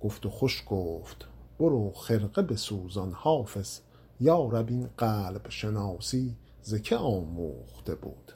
گفت و خوش گفت برو خرقه بسوزان حافظ یا رب این قلب شناسی ز که آموخته بود